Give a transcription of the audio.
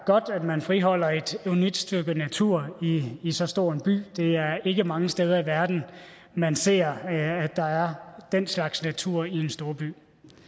godt at man friholder et unikt stykke natur i så stor en by det er ikke mange steder i verden man ser at der er den slags natur i en storby